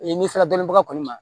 n'i sera dɔnbaga kɔni ma